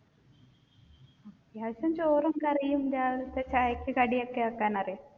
എല്ലാര്ക്കും ചോറും കറിയും രാവിലത്തെ ചായക്ക് കടി ഒക്കെ വെക്കാൻ അറിയാം.